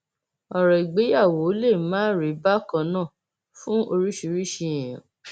ọrọ ìgbéyàwó lè má rí bákan náà fún oríṣiríṣiì èèyàn